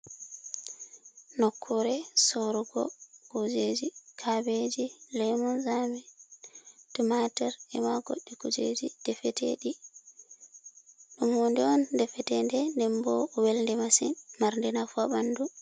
Nokkure sorugo kujeji. Kabeji, lemun sami, tumatur e ma goɗɗi kujeji defete ɗi. Ɗo pat ɗum defeteɗum den bo welɗe masin, Marɗi nafu ha ɓandu.